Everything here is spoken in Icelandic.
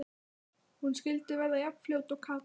Hún skyldi verða jafn fljót og Kata!